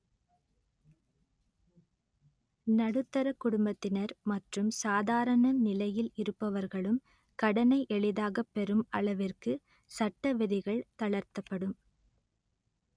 நடுத்தரக் குடும்பத்தினர் மற்றும் சாதாரண நிலையில் இருப்பவர்களும் கடனை எளிதாக பெறும் அளவிற்கு சட்ட விதிகள் தளர்த்தப்படும்